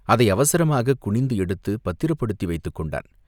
அதை அவசரமாகக் குனிந்து எடுத்துப் பத்திரப்படுத்தி வைத்துக் கொண்டான்.